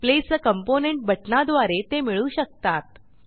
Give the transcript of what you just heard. place आ component बटणाद्वारे ते मिळू शकतात